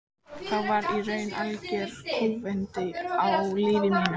Þá varð í raun algjör kúvending á lífi mínu.